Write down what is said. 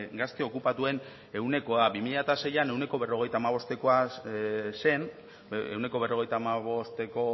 gazte okupatuen ehunekoa bi mila seian ehuneko berrogeita hamabostekoa zen ehuneko berrogeita hamabosteko